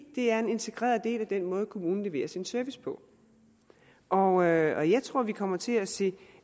det er en integreret del af den måde kommunen leverer sin service på og jeg tror vi kommer til at se